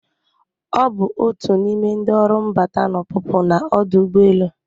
Ọ bụ otu n'ime ndị ọrụ mbata na ọpụpụ na ọdụ ụgbọelu.